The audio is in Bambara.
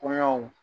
Koɲaw